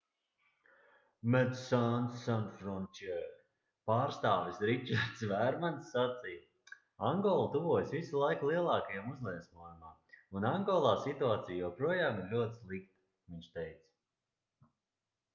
medecines sans frontiere pārstāvis ričards vērmans sacīja angola tuvojas visu laiku lielākajam uzliesmojumam un angolā situācija joprojām ir ļoti slikta viņš teica